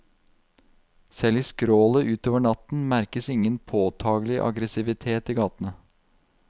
Selv i skrålet utover natten merkes ingen påtagelig aggressivitet i gatene.